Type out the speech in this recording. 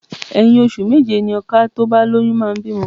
Ẹ̀yin ọṣù méje ni ọka tí ó bá lóyún máa bímọ.